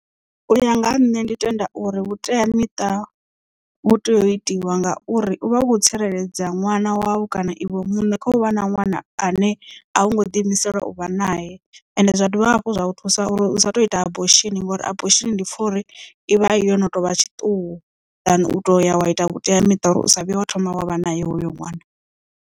Uya nga ha nṋe ndi tenda uri vhuteamiṱa vhu tea u itiwa ngauri u vha u kho tsireledza ṅwana wau kana iwe muṋe kha u vha na ṅwana ane a wo ngo ḓi imisela uvha nae ende zwa dovha hafhu zwa thusa uri u sa tu ita abortion ngori abortion ndi pfha uri ivha yo no tovha tshiṱuhu than u to ya wa ita vhuteamiṱa uri u sa vhuye wa thoma wa vha nae hoyo nwana.